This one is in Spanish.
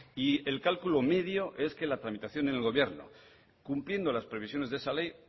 y el cálculo medio es que la tramitación en el gobierno cumpliendo las previsiones de esa ley